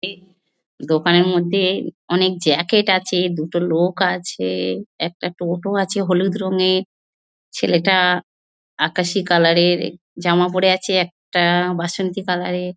এই দোকানের মধ্যে অনেক জ্যাকেট আছে দুটো লোক আছে একটা টোটো আছে হলুদ রঙের ছেলেটা আকাশী কালার এর জামা পরে আছে একটা বাসন্তী কালার এর--